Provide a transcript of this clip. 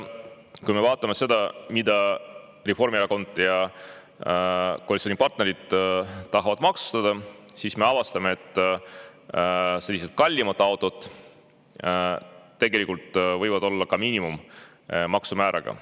Kui me vaatame seda, mida Reformierakond ja koalitsioonipartnerid tahavad maksustada, siis me avastame, et kallimad autod tegelikult võivad olla ka minimaalse maksumääraga.